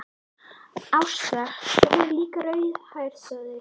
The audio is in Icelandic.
Ásta, svo er hún líka rauðhærð, sagði